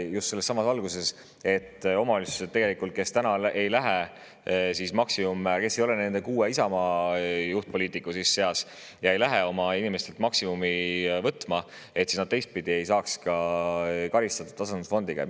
Just sellessamas valguses, et omavalitsused, kes ei lähe üle maksimummäärale ja kes ei ole nende kuue Isamaa juhtpoliitiku seas ega hakka oma inimestelt maksimumi võtma, ei saaks teistpidi karistada tasandusfondi.